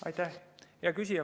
Hea küsija!